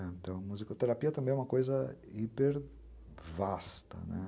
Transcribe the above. Então, musicoterapia também é uma coisa hipervasta, né?